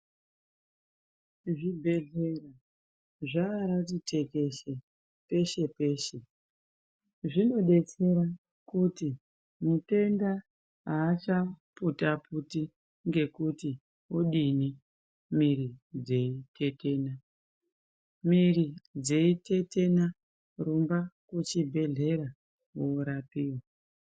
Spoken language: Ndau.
Zvibhedhlera zvaati tekeshe peshe-peshe. Zvinodetsera kuti mutenda aachaputa-puti ngekuti wodini mwiri dzeitetena. Mwiri dzeitetena rumba kuchibhedhlera worapiwa.